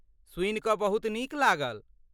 सुनि कऽ बहुत नीक लागल।